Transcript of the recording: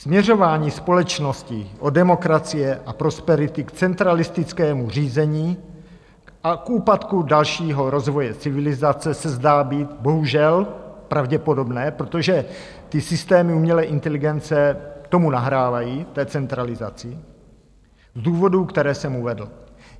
Směřování společnosti od demokracie a prosperity k centralistickému řízení a k úpadku dalšího rozvoje civilizace se zdá být bohužel pravděpodobné, protože ty systémy umělé inteligence tomu nahrávají, té centralizaci, z důvodů, které jsem uvedl.